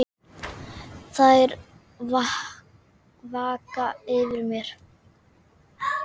Þær vaka yfir mér.